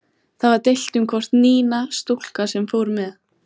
Það var deilt um hvort Nína, stúlkan sem fór með